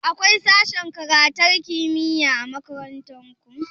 Akwai sashen karantar kimiyya a makarantar ku?